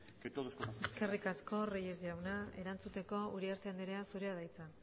que todos conocemos eskerrik asko reyes jauna erantzuteko uriarte anderea zurea da hitza